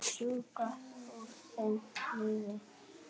Sjúga úr þeim lífið.